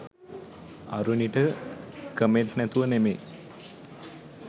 අරුණිට comment නැතුව නෙවේ